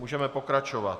Můžeme pokračovat.